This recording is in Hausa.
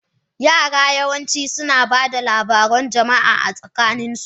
Yara yawanci suna ba da labarun jama'a a tsakaninsu.